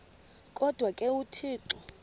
kodwa ke uthixo